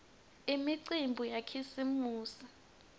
imicimbi yakhisimusi